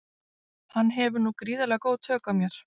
Hann hefur nú gríðarlega góð tök á mér.